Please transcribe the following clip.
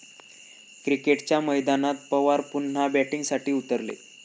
क्रिकेटच्या मैदानात पवार पुन्हा 'बॅटिंग'साठी उतरले!